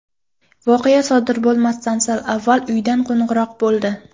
Voqea sodir bo‘lmasdan sal avval uydan qo‘ng‘iroq bo‘ldi.